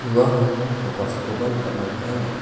uano nokacholkoba nikatna gita man·a.